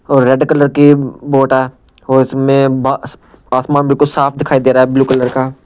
और red colour की boat है और इसमें अह आसमान बिल्कुल साफ दिखाई दे रहा है ब्लू कलर का।